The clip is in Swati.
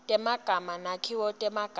temagama netakhiwo temagama